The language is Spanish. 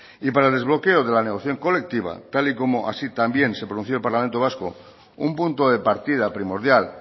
y para el desbloque de la negociación colectiva tal y como así también se pronunció el parlamento vasco un punto de partida primordial